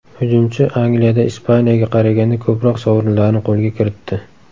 Hujumchi Angliyada Ispaniyaga qaraganda ko‘proq sovrinlarni qo‘lga kiritdi.